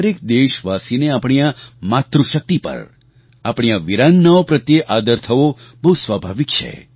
દરેક દેશવાસીને આપણી આ માતૃશક્તિ પર આપણી આ વીરાંગનાઓ પ્રત્યે આદર થવો બહુ સ્વાભાવિક છે